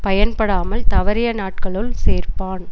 பயன் படாமல் தவறிய நாட்களுள் சேர்ப்பான்